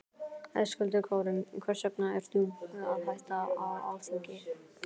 Höskuldur Kári: Hvers vegna ert þú að hætta á Alþingi?